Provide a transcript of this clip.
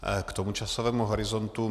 K tomu časovému horizontu.